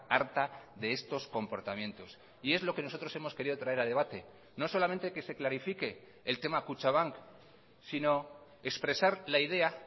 harta de estos comportamientos y es lo que nosotros hemos querido traer a debate no solamente que se clarifique el tema kutxabank sino expresar la idea